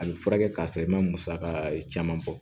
A bɛ furakɛ ka sɔrɔ i ma musaka caman bɔ